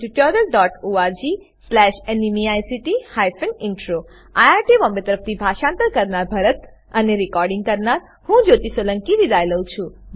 httpspoken tutorialorgNMEICT Intro IIT Bombay તરફથી હું ભરતભાઈ સોલંકી વિદાય લઉં છું